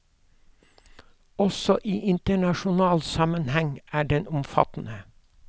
Også i internasjonal sammenheng er den omfattende.